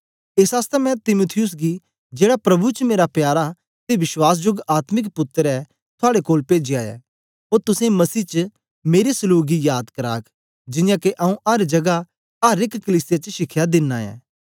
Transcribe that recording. एस आसतै मैं तीमुथियुस गी जेड़ा प्रभु च मेरा प्यारा ते विश्वासजोग आत्मिक पुत्तर ऐ थुआड़े कोल पेजया ऐ ओ तुसेंगी मसीह च मेरे सलूक गी याद कराग जियां के आऊँ अर जगा अर एक कलीसिया च शिखया दिनां ऐं